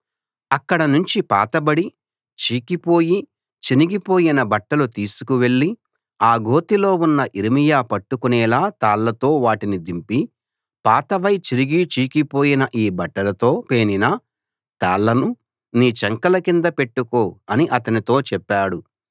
అక్కడ నుంచి పాతబడి చీకిపోయి చినిగిపోయిన బట్టలు తీసుకువెళ్లి ఆ గోతిలో ఉన్న యిర్మీయా పట్టుకునేలా తాళ్ళతో వాటిని దింపి పాతవై చిరిగి చీకిపోయిన ఈ బట్టలతో పేనిన తాళ్ళను నీ చంకల కింద పెట్టుకో అని అతనితో చెప్పాడు